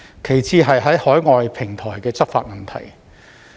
其次是在海外平台執法的問題。